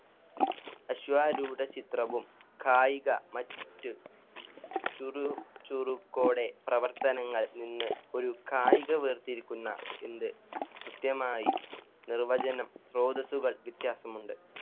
അശ്വാരൂഢ ചിത്രവും കായിക മറ്റു ചുരു~ ചുരുക്കോടെ പ്രവർത്തനങ്ങൾ നിന്ന് ഒരു കായിക വേർതിരിക്കുന്ന എന്ന് കൃത്യമായി നിർവചനം സ്രോതസുകൾ വ്യത്യാസമുണ്ട്.